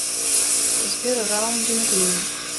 сбер раундинг лим